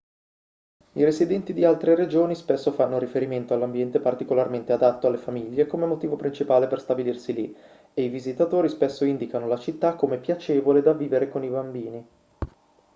i residenti di altre regioni spesso fanno riferimento all'ambiente particolarmente adatto alle famiglie come motivo principale per stabilirsi lì e i visitatori spesso indicano la città come piacevole da vivere con i bambini